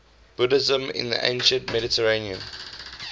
buddhism in the ancient mediterranean